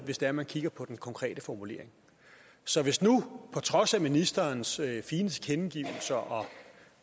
hvis det er man kigger på den konkrete formulering så hvis nu på trods af ministerens fine tilkendegivelser og